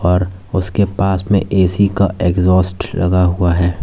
और उसके पास में ए_सी का एक्जास्ट लगा हुआ है।